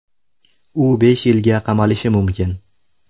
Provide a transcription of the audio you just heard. U besh yilga qamalishi mumkin .